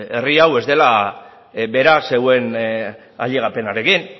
herri hau ez dela beraz zeuen ailegapenarekin